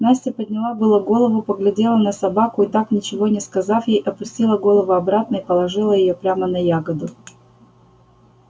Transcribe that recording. настя подняла было голову поглядела на собаку и так ничего не сказав ей опустила голову обратно и положила её прямо на ягоду